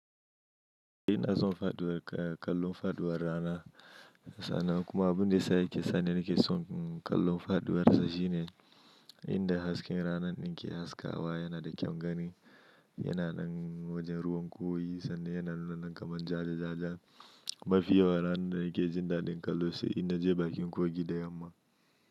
Inna son faɗuwar, kallon faɗuwar rana sa'an nan kuma abun da ya sa yake sani nake son kallon faduwar sa shine inda hasken rana ɗin ke haskawa yana da kyaun gani yana nan wajen ruwan kogi sanda yana nunannan kamar ja ja ja ja mafi yawan ranar da nake jin daɗin kallo sai in naje bakin kogi da yamma.